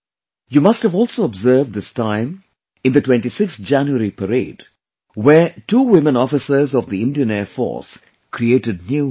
You must have also observed this time in the 26th January parade, where two women officers of the Indian Air Force created new history